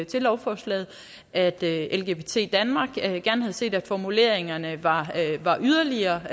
til lovforslaget at lgbt danmark gerne havde set at formuleringerne var yderligere